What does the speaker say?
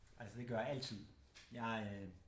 Altså det gør jeg altid jeg øh